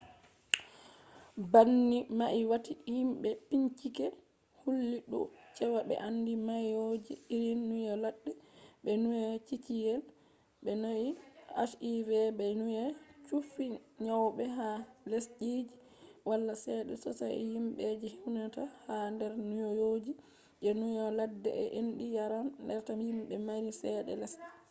banni mai wati himbe bincike houlli dou cewa be andi nyawoji irin nyau ladde be nyau ciciyel be nyau hiv be nyau chuffi nyawobe ha lesdiji wala cede sosai himbe je huinata ha der nyowoji je nyau ladde je endi yaran reta himbe mari cede lesde